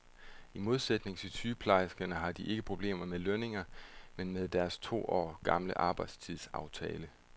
I modsætning til sygeplejerskerne har de ikke problemer med lønningerne, men med deres to år gamle arbejdstidsaftale.